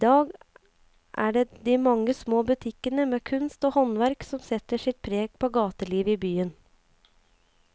I dag er det de mange små butikkene med kunst og håndverk som setter sitt preg på gatelivet i byen.